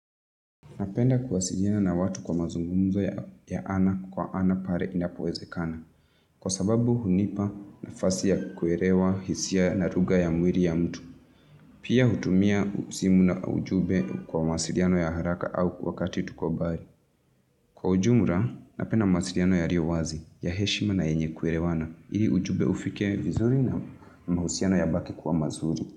Napenda kuwasiliana na watu kwa mazungumzo ya ana kwa ana pale inapowezekana. Kwa sababu hunipa nafasi ya kuelewa hisia na lugha ya mwiri ya mtu. Pia hutumia usimu na ujube kwa masiliano ya haraka au kwakati tuko mbari. Kwa ujumula, napenda mawasiliano yaliyo wazi, ya heshima na yenye kuelewana. Iri ujube ufike vizuri na mahusiano ya baki kuwa mazuri.